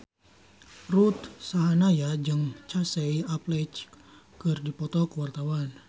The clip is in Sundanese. Ruth Sahanaya jeung Casey Affleck keur dipoto ku wartawan